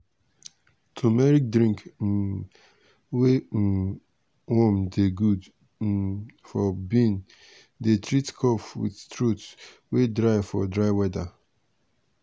turmeric drink um wey um warm dey good um for bin dey treat cough with throat wey dry for dry weather.